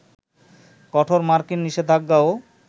কঠোর মার্কিন নিষেধাজ্ঞাও